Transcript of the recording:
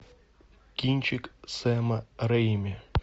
кинчик сэма рэйми